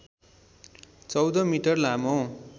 १४ metre लामो